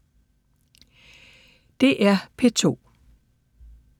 DR P2